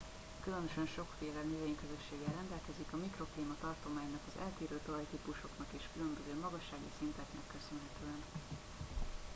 különösen sokféle növényközösséggel rendelkezik a mikroklíma tartománynak az eltérő talajtípusoknak és a különböző magassági szinteknek köszönhetően